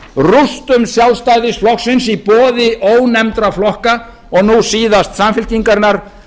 útrásarglæfranna rústum sjálfstæðisflokksins í boði ónefndra flokka og nú síðast samfylkingarinnar